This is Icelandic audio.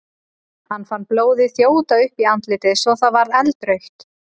Hann fann blóðið þjóta upp í andlitið svo að það varð eldrautt.